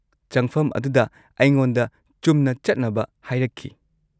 -ꯆꯪꯐꯝ ꯑꯗꯨꯗ ꯑꯩꯉꯣꯟꯗ ꯆꯨꯝꯅ ꯆꯠꯅꯕ ꯍꯥꯏꯔꯛꯈꯤ ꯫